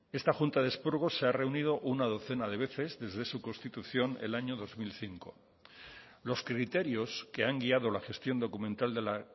esta junta de expurgo se ha reunido una docena de veces desde su constitución el año dos mil cinco los criterios que han guiado la gestión documental de la